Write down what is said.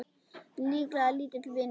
Líklega lítill vinur þinn!